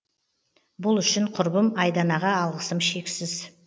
бұл үшін құрбым айданаға алғысым шексіз